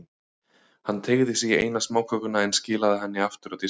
Hann teygði sig í eina smákökuna, en skilaði henni aftur á diskinn.